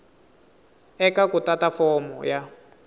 eka ku tata fomo ya